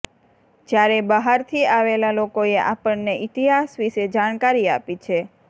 જ્યારે બહારથી આવેલા લોકોએ આપણને ઇતિહાસ વિશે જાણકારી આપી છે